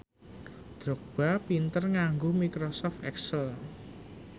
Drogba pinter nganggo microsoft excel